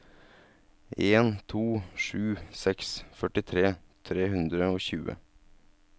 en to sju seks førtitre tre hundre og tjue